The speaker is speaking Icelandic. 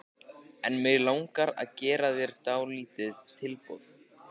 En mig langar að gera þér dálítið tilboð.